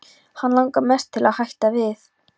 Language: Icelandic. Hana langar mest til að hætta við.